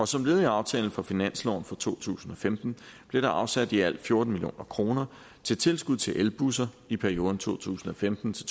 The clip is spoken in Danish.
som led i aftalen for finansloven for to tusind og femten blev der afsat i alt fjorten million kroner til tilskud til elbusser i perioden to tusind og femten til